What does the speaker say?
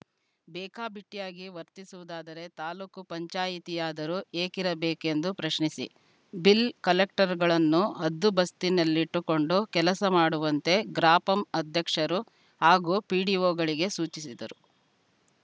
ಬೇಕಾಬಿಟ್ಟಿಯಾಗಿ ವರ್ತಿಸುವುದಾದರೆ ತಾಲೂಕು ಪಂಚಾಯಿತಿಯಾದರೂ ಏಕಿರಬೇಕೆಂದು ಪ್ರಶ್ನಿಸಿ ಬಿಲ್‌ ಕಲೆಕ್ಟರ್‌ಗಳನ್ನು ಹದ್ದುಬಸ್ತಿನಲ್ಲಿಟ್ಟುಕೊಂಡು ಕೆಲಸ ಮಾಡುವಂತೆ ಗ್ರಾಪಂ ಅಧ್ಯಕ್ಷರು ಹಾಗೂ ಪಿಡಿಒಗಳಿಗೆ ಸೂಚಿಸಿದರು